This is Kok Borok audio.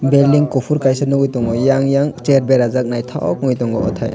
belding kuhfur kaisa nugui tongo eiang chair berajak ngthok ungui tongo othai.